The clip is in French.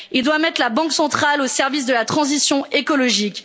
il doit mettre la Banque centrale au service de la transition écologique